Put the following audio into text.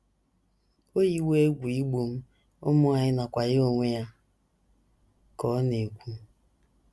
“ O yiwo egwu igbu m, ụmụ anyị, nakwa ya onwe ya, ” ka ọ na - ekwu.